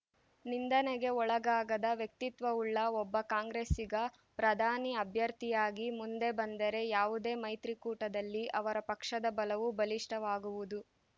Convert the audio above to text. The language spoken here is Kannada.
ನಿಂದನೆಗೆ ಒಳಗಾಗದ ವ್ಯಕ್ತಿತ್ವವುಳ್ಳ ಒಬ್ಬ ಕಾಂಗ್ರೆಸ್ಸಿಗ ಪ್ರಧಾನಿ ಅಭ್ಯರ್ಥಿಯಾಗಿ ಮುಂದೆ ಬಂದರೆ ಯಾವುದೇ ಮೈತ್ರಿಕೂಟದಲ್ಲಿ ಅವರ ಪಕ್ಷದ ಬಲವು ಬಲಿಷ್ಠವಾಗುವುದು